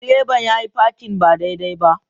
Direban yayi parking ba daidai ba.